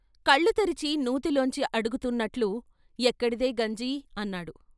కళ్ళు తెరిచి నూతిలోంచి అడుగుతున్నట్లు "ఎక్కడిదే గంజి" అన్నాడు.